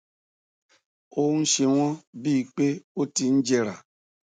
ó ń ṣe wọn bí i pé ó ti ń jẹrà